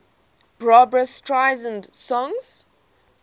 barbra streisand songs